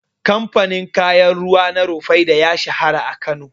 Kamfanin kayan ruwa na Rufaidah ya shahara a Kano yanzu.